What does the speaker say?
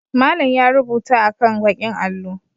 Malam ya rubuta akan ɓakin allo.